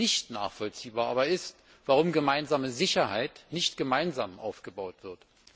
Nicht nachvollziehbar aber ist, warum gemeinsame Sicherheit nicht gemeinsam aufgebaut wird.